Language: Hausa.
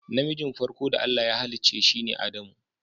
Na mijin farko da Allah ya hallice sine Adamu.